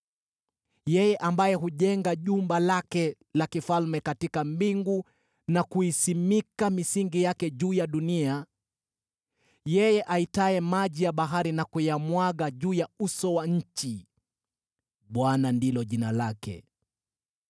yeye ambaye hujenga jumba lake la kifalme katika mbingu na kuisimika misingi yake juu ya dunia, yeye aitaye maji ya bahari na kuyamwaga juu ya uso wa nchi: Bwana ndilo jina lake.